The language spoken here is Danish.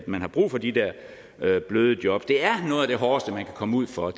man har brug for de der bløde bløde jobs det er noget af det hårdeste man kan komme ud for